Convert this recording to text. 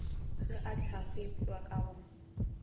ge a hlagipwa ka go